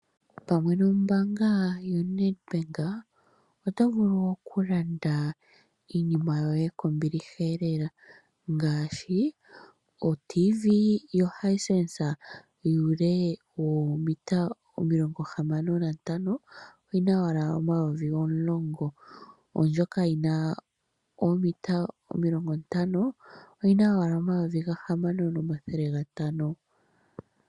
Pamwe nombaanga yoNedbank, oto vulu okulanda iinima yoye kombiliha lela ngaashi: otiivii yoHisense yuule woometa 65 oyi na owala N$ 10 000 naandjoka yoomita 50 oyi na owala N$ 6500.